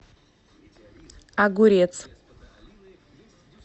огурец